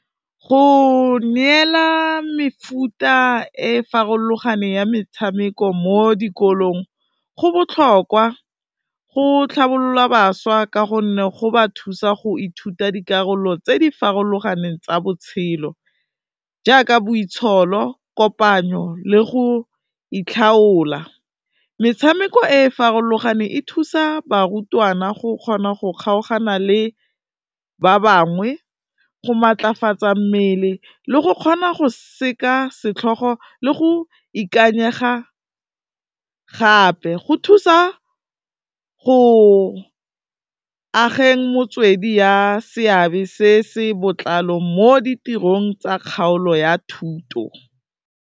Go neela mefuta e farologaneng ya metshameko mo dikolong go botlhokwa, go tlhabolola bašwa ka gonne, go ba thusa go ithuta dikarolo tse di farologaneng tsa botshelo jaaka boitsholo, kopanyo le go itlhaola. Metshameko e farologane e thusa barutwana go kgona go kgaogana le ba bangwe, go matlafatsa mmele le go kgona go seka setlhogo, le go ikanyega gape, go thusa go ageng motswedi ya seabe se se botlalo mo ditirong tsa kgaolo ya thuto.